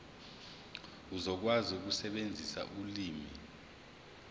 uzokwazi ukusebenzisa ulimi